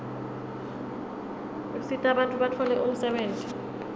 usita bantfu batfole umsebenti